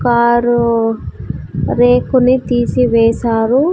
Car రేకుని తీసివేశారు.